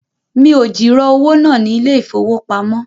Mi ò jìrọ̀ owó náà ní ilé ìfowópamọ́